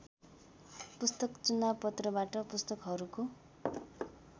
पुस्तक चुनावपत्रबाट पुस्तकहरुको